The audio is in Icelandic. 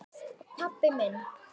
pabbi minn